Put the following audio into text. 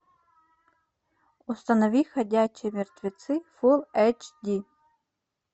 установи ходячие мертвецы фул эйч ди